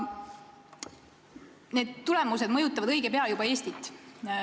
Need tulemused mõjutavad õige pea ka Eestit.